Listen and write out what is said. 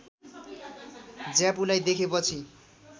ज्यापुलाई देखेपछि